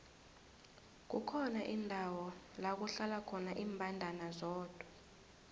kukhona indawo lakuhlala khona imbandana zodwa